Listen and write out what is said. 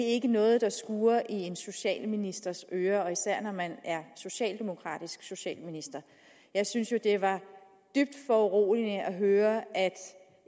ikke noget der skurrer i en socialministers ører især når man er socialdemokratisk socialminister jeg synes jo det var dybt foruroligende at høre at